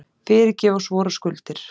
Fyrirgef oss vorar skuldir,